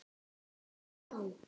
Er hún þá.